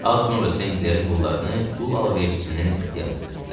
Az sonra Senklerin qullarını qul alverçisinin ixtiyarına verdilər.